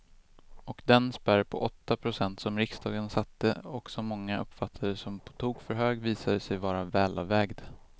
Och den spärr på åtta procent som riksdagen satte och som många uppfattade som på tok för hög visade sig vara välavvägd.